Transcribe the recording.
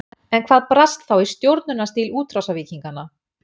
En hvað brast þá í stjórnunarstíl útrásarvíkinganna?